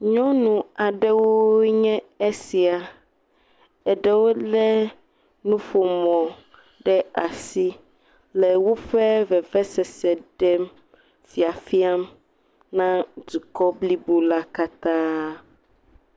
Nyɔnu aɖewoe nye esia. Eɖewo le nuƒomɔ ɖe asi le woƒe vevesese ɖem le fiafiam na dukɔ blibo la katã.